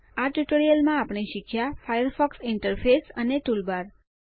આ ટ્યુટોરીયલમાં આપણે શીખ્યા ફાયરફોક્સ ઇન્ટરફેસ અને ટૂલબાર